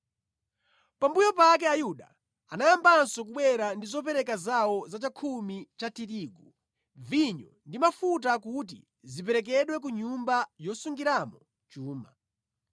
Pambuyo pake Ayuda anayambanso kubwera ndi zopereka zawo za chakhumi cha tirigu, vinyo ndi mafuta kuti ziperekedwe ku nyumba yosungiramo chuma.